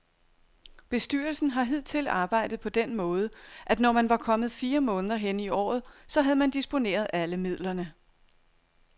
Bestyrelsen har hidtil arbejdet på den måde, at når man var kommet fire måneder hen i året, så havde man disponeret alle midlerne.